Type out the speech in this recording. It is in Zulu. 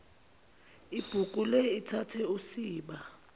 ibhukule ithathe usiba